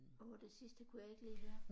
Åh det sidste kunne jeg ikke lige høre